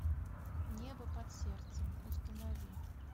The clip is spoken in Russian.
небо под сердцем установи